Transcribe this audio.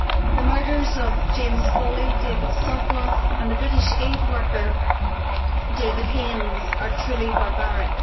The murders of James Foley, David Sotloff and the British aid worker David Haines are truly barbaric.